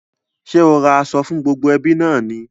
Ṣé o ra aṣọ fún gbogbo ẹbí náà ni?